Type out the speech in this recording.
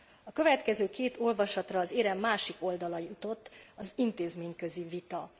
A következő két olvasatra az érem másik oldala jutott az intézményközi vita.